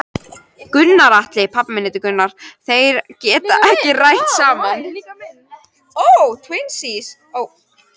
Gunnar Atli: Þeir geta ekki rætt saman?